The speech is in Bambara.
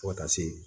Fo ka taa se